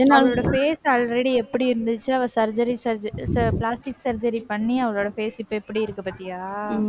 அவளோட face already எப்படி இருந்துச்சு? அவள் surgery surg~ அஹ் plastic surgery பண்ணி, அவளோட face இப்ப எப்படி இருக்கு பார்த்தியா?